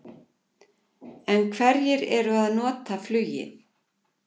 En hverjir eru að nota flugið?